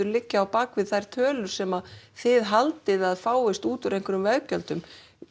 liggja að baki þessum tölum sem þið haldið að fáist út úr einhverjum veggjöldum